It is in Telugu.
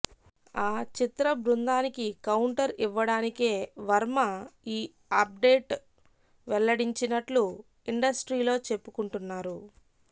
ఆ చిత్రబృందానికి కౌంటర్ ఇవ్వడానికే వర్మ ఈ అప్డేట్ వెల్లడించినట్లు ఇండస్ట్రీలో చెప్పుకుంటున్నారు